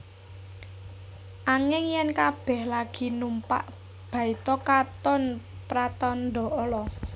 Anging yèn kabèh lagi numpak baita katon pratandha ala